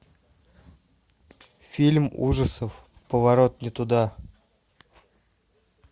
фильм ужасов поворот не туда